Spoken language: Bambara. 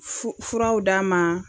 Fu furaw d'a ma